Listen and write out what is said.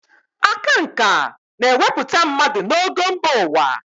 Aka nkà na-ewepụta mmadụ n'ogo mba ụwa.